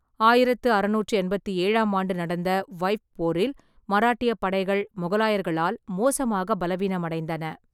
ஆயிரத்து அறுநூற்றி எண்பத்தி ஏழாம் ஆண்டு நடந்த வைய்ப் போரில் மராட்டியப் படைகள் மொகலாயர்களால் மோசமாக பலவீனமடைந்தன.